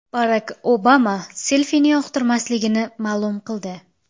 Barak Obama selfini yoqtirmasligini ma’lum qildi.